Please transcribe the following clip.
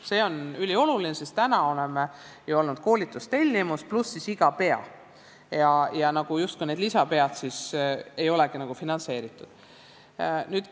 See on ülioluline, sest täna on olnud ju koolitustellimus pluss iga "pea" ja need "lisapead" ei olegi justkui finantseeritud.